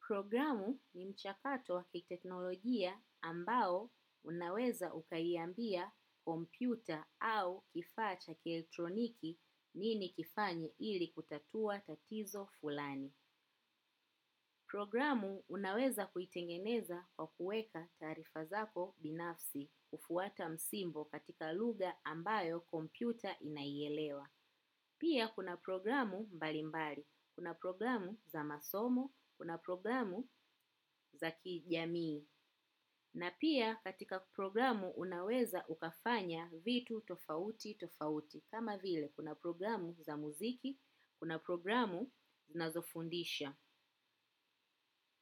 Programu ni mchakato wa kiteknologia ambao unaweza ukaiambia kompyuta au kifaa cha kieletroniki nini kifanye ili kutatua tatizo fulani. Programu unaweza kuitengeneza kwa kuweka taarifa zako binafsi kwa kufuata msimbo katika lugha ambayo komyuta inaielewa. Pia kuna programu mbalimbali. Kuna programu za masomo. Kuna programu za kijamii. Na pia katika programu unaweza ukafanya vitu tofauti tofauti. Kama vile kuna programu za muziki. Kuna programu zinazofundisha.